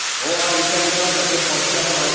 ଅ ଆ ଲେଖ ତାପରେ ପଣିକିଆ ପଢ଼